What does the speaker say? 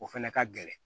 O fɛnɛ ka gɛlɛn